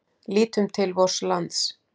Lítum til vors lands.